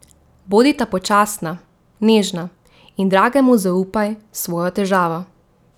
Bodita počasna, nežna in dragemu zaupaj svojo težavo.